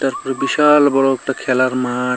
বিশাল বড় একটা খেলার মাঠ--